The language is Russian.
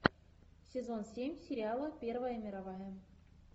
сезон семь сериала первая мировая